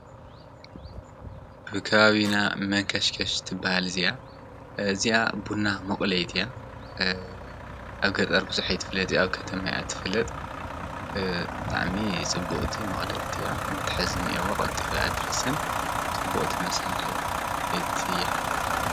ብካባቢና መንከሽከሽ ትበሃል እዚያ እዚኣ ቡና መቑለይትያ ኣብገጠር ብዙሒይት ፍለጥ ኣብ ከተማያት ፍለጥ ጥዕሜ ጽቡቕቲ መቕለብቲያ መትሐዝኒ የዋቕልጢፊ ኣትርስን ጽቡቕቲ መሣርሕቲ::